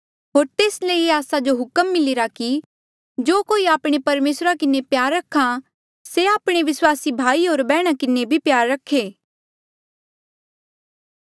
होर तेस ले आस्सा जो ये हुक्म मिलिरा कि जो कोई आपणे परमेसरा किन्हें प्यार रख्हा से आपणे विस्वासी भाई होर बैहणा किन्हें भी प्यार रखे